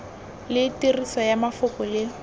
le tiriso ya mafoko le